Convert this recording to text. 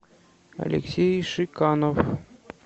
алексей шиканов